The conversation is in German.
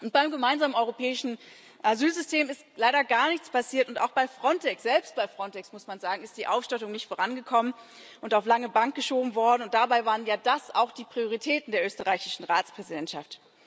Beim Gemeinsamen Europäischen Asylsystem ist leider gar nichts passiert und auch bei Frontex selbst bei Frontex, muss man sagen ist die Ausstattung nicht vorangekommen und auf die lange Bank geschoben worden, und dabei waren ja das auch die Prioritäten der österreichischen Ratspräsidentschaft.